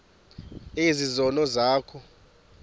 ezi zono zakho